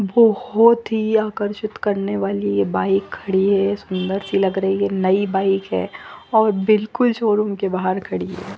बहुत ही आकर्षित करने वाली ये बाइक खड़ी है सुन्दर सी लग रही है नई बाइक है और बिल्कुल शो रूम के बाहर खड़ी है।